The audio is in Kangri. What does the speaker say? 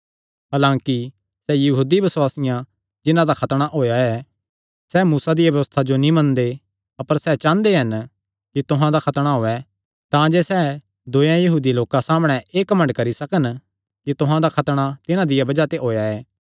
हलांकि सैह़ यहूदी बसुआसी जिन्हां दा खतणा होएया ऐ सैह़ मूसा दिया व्यबस्था जो नीं मनदे अपर सैह़ चांह़दे हन कि तुहां दा खतणा होयैं तांजे सैह़ दूयेयां यहूदी लोकां सामणै एह़ घमंड करी सकन कि तुहां दा खतणा तिन्हां दिया बज़ाह ते होएया ऐ